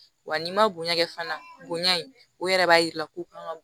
Wa n'i ma bonya kɛ fana bonya in o yɛrɛ b'a yira ko kan ka